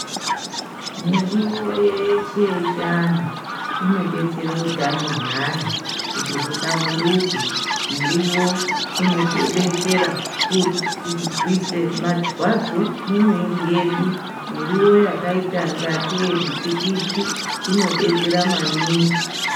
Miriwo yeshe yechiantu inodetsere utano hweantu kuti huhlamburuke miriwo inotidetsera kurwise marwadzo mumwiri yedu, miriwo yakaita ngatei mutikiti inodetsera maningi.